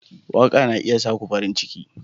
Waka na iya sa ku farin ciki.